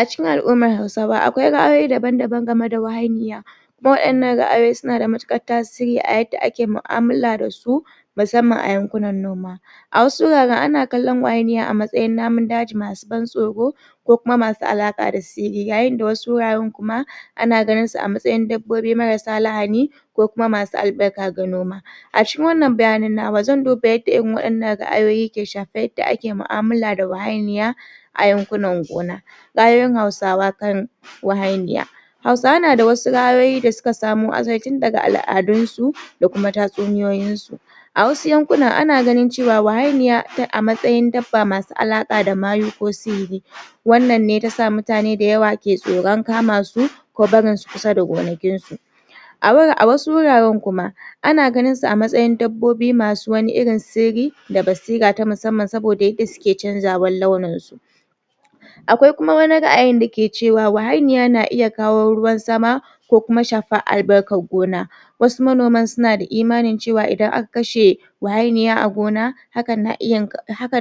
Acikin al-umma hausawa akwai ra'ayoyi da yawa akan wahainiya wadan nan ra'ayoyi suna da matukar tasiri a yanda ake mu'amulla da su musamman a yankuna noma a wasu wuraren ana kallan wahainiya a matsayin namun daji masu ban tsoro ko kuma masu alaka da sihiri yayin da wasu wuraren kuma ana ganin su amtsayin dabbobi marasa lahani ko kuma masu albarka ga noma acikin wannan bayanan namu zan duba yadda irin wannan ra'ayoyi ke shafan yadda ake mu'amala da wahainiya a yankunan gona ra'ayoyin hausawa kan wahai niya hausawa nada ra'ayoyi da suka samo asali tun daga al-adunsu da kuma tatsuniyoyin su a wasu yankunan ana ganin cewa wahainiya a matsayin dabba masu alaka da mayu ko sihiri wannan ne tasa mutane dayawa ke tsoron kamasu ko barin su kusa da gonakin su a wasu wuren kuma ana ganin su a matsayin wasu dabbobi masu wani sirri da basira ta musamman saboda yadda suke canjawan launin su a kawai kuma wani ra'ayi dayake cewa wahainiya na iya kawo ruwan sama ko kuma shafar albarkan gona wasu manoman suna da imani cewa idan aka kashe wahainiya a gona hakan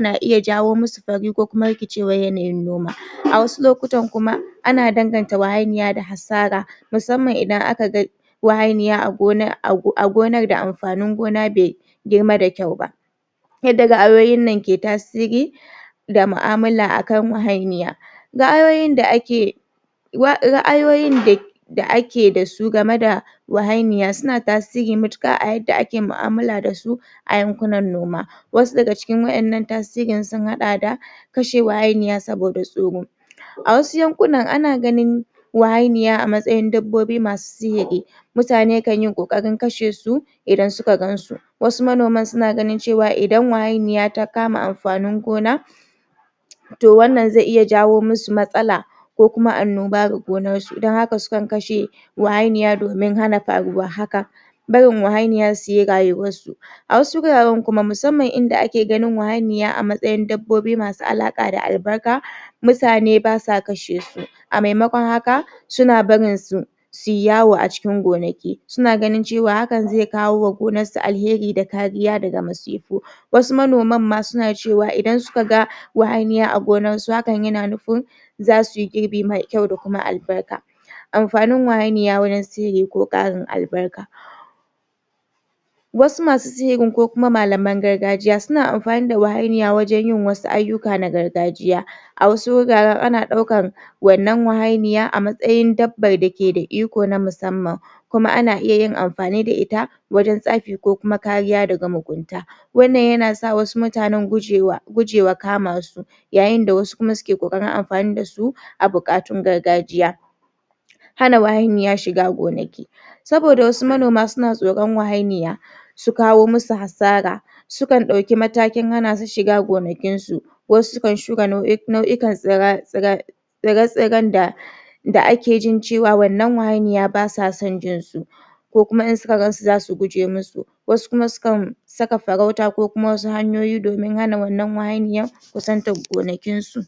na iya jawo masu fari ko kuma rikicewar yanayin noma a wasu lokutan kuma ana danganta wahainiya da hasara musamman idan aka ga wahainiya a gonar da amfanin gona be girma da kyau ba yadda ra'ayoyin nan ke tasiri da mu'amala akan wahainiya ra'ayoyin da ake ra'ayoyin da da ake dasu game da wahainiya suna tasiri matuka a yadda ake mu'amala da su a yankunan noma wasu daga cikin wayan nan tasirin sun hada kashe wahianiya saboda tsoro a wasu yankunan anaganin wa hainiya a matsayin dabbobi masu sihiri mutane kan yi kokarin kashe su idan suka gansu wasu manoman suna ganin cewa idan wahainiya ta kama amfanin gona to wannan zai iya jawo masu matsala ko kuma annoba ga gonar su don haka sukan kashe wahainiya domin hana faruwar haka barin wahainiya suyi rayuwar su wasu wuraren kuma musamman inda ake ganin wahainiya a matsayin dabbobi masu alaka da albarka mutane basa kashe su a maimakon haka suna barin su suyi yawo acikin gonaki suna ganin cewa haka ze kawo gonanakin su alheri da kuma kariya daga musibu wasu manoman ma suna cewa idan suka ga wahainiya a gonar su hakan yana nufin zasuyi girbi mai kyau da kuma albarka amfanin wahainiya wurin sihiri ko karin albarka wasu masu sihirin ko kuma mlaman gargajiya suna amfani da wahainiya wajen wasu aiyuka na gargajiya a wasu guratren ana daukan wannan wahainiya a matsayin babbar dake da iko na musamman kuma ana iya yin amfani da ita wajen tsafi ko kuma kariya daga mugunta wannan yasa wasu mutanen gujewa kama su yayin da wasu kuma suke kokarin amfani da su a bukatun gargajiya hana wahainiya shiga gonaki saboda wasu manoma suna tsoron wahainiya sukawo masu hasara sukan daui matakin hanasu shiga gonakin su wasu sukan shuka nau'ikan tsirrai tsire-tsiren da da ake jin cewa wannan wahainiya basa son jinsu ko kuma insuga gansu zasu guje masu wasu kuma sukan saka farauta ko kuma wasu hanyoyi domin hana wannan wahainiyar kusantan gonakin su